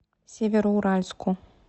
североуральску